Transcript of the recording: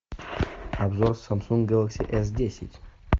обзор самсунг гэлакси эс десять